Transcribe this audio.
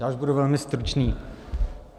Já už budu velmi stručný.